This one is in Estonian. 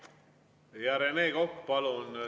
Rene Kokk, palun!